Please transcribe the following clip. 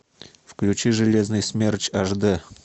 включи железный смерч аш дэ